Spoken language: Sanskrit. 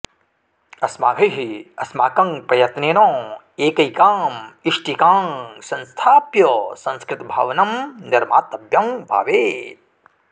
अस्माभिः अस्माकं प्रयत्नेन एकैकाम् इष्टिकां संस्थाप्य संस्कृतभवनं निर्मातव्यं भवेत्